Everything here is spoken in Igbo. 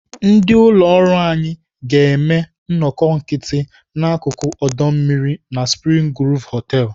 Ndị ụlọ ọrụ anyị ga-eme nnọkọ nkịtị n'akụkụ ọdọ mmiri na Spring Groove Hotel.